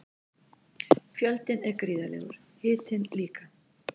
Fjöldinn er gríðarlegur, hitinn líka.